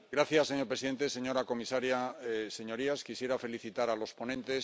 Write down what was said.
Señor presidente, señora comisaria, señorías, quisiera felicitar a los ponentes.